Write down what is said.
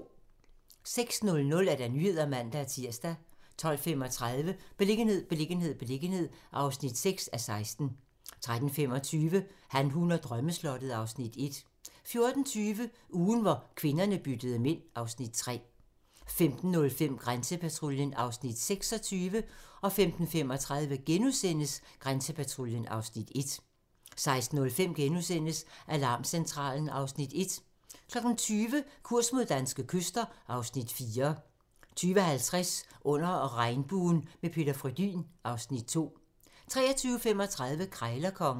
06:00: Nyhederne (man-tir) 12:35: Beliggenhed, beliggenhed, beliggenhed (6:16) 13:25: Han, hun og drømmeslottet (Afs. 1) 14:20: Ugen, hvor kvinderne byttede mænd (Afs. 3) 15:05: Grænsepatruljen (Afs. 26) 15:35: Grænsepatruljen (Afs. 1)* 16:05: Alarmcentralen (Afs. 1)* 20:00: Kurs mod danske kyster (Afs. 4) 20:50: Under regnbuen - med Peter Frödin (Afs. 2) 23:35: Krejlerkongen